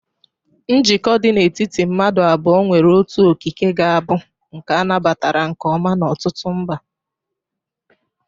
Njikọ dị n'etiti madu abuo nwere otu okike ga-abụ nke a nabatara nke ọma n'ọtụtụ mba.